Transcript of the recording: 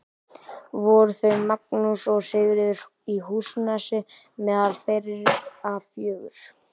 Voru þau Magnús og Sigríður í Húsanesi meðal þeirra fjögurra.